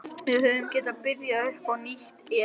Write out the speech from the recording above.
Við hefðum getað byrjað upp á nýtt ef